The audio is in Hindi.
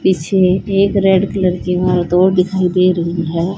पीछे एक रेड कलर की इमारत और दिखाई दे रही है।